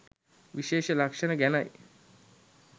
විශේෂ ලක්ෂණ ගැනයි.